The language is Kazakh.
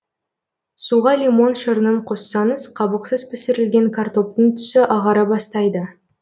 суға лимон шырынын қоссаңыз қабықсыз пісірілген картоптың түсі ағара бастайды